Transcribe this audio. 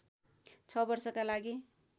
६ वर्षका लागि